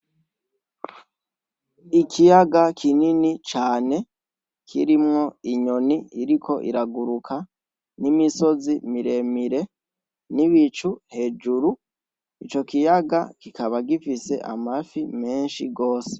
Ikiyaga kinini cane kirimwo inyoni iriko iraguruka n'imisozi miremire n'ibicu hejuru ico kiyaga kikaba gifise amafi menshi rwose.